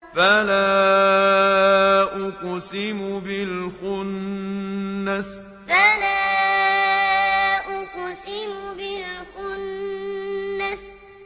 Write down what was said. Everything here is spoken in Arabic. فَلَا أُقْسِمُ بِالْخُنَّسِ فَلَا أُقْسِمُ بِالْخُنَّسِ